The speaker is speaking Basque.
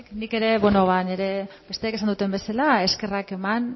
nik ere bueno ba nire besteek esan duten bezala eskerrak eman